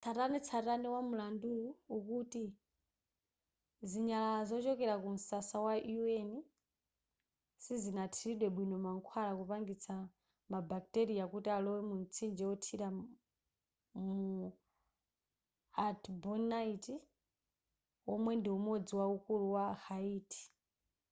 tsatanetsatane wa mlanduwu ukuti zinyalala zochokera ku msasa wa un sizinathiridwe bwino mankhwala kupangitsa ma bacteria kuti alowe mu mtsinje wothira mu artibonite womwe ndi umodzi waukulu wa haiti